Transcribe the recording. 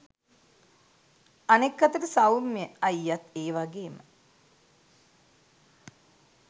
අනෙක් අතට සෞම්‍ය අයියත් ඒ වගේම